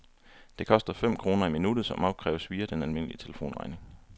Det koster fem kroner i minuttet, som opkræves via den almindelige telefonregning.